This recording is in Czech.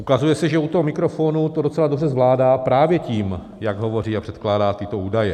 Ukazuje se, že u toho mikrofonu to docela dobře zvládá právě tím, jak hovoří a předkládá tyto údaje.